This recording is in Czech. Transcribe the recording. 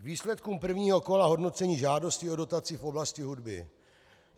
K výsledkům prvního kola hodnocení žádostí o dotaci v oblasti hudby.